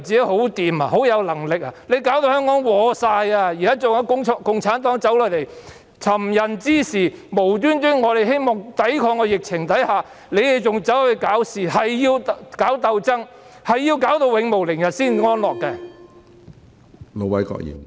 她現在已拖垮香港，共產黨又走下來尋釁滋事，我們只是希望抵抗疫情，他們卻無故搞事，硬要搞鬥爭，硬要弄致永無寧日才安樂。